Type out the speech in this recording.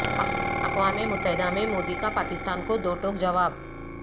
اقوام متحدہ میں مودی کا پاکستان کو دو ٹوک جواب